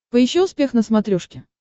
поищи успех на смотрешке